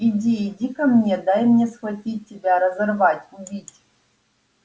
иди иди ко мне дай мне схватить тебя разорвать убить